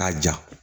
K'a ja